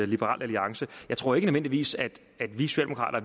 liberal alliance jeg tror ikke nødvendigvis at